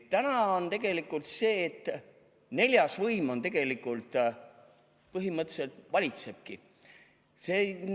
Täna on tegelikult see, et neljas võim põhimõtteliselt valitsebki.